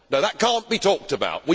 No, that cannot be talked about.